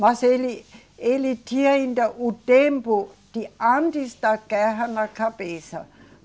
Mas ele, ele tinha ainda o tempo de antes da guerra na cabeça.